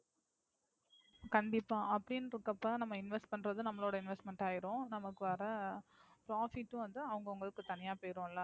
கண்டிப்பா. அப்படின்கிறப்ப நாம Invest பன்றதும் நம்மளோட Investment ஆகிரும், நமக்கு வர Profit உம் வந்து அவங்க அவங்களுக்கு தனியா போயிரும்ல.